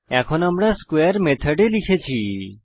এখন আমরা স্কোয়ারে মেথড লিখেছি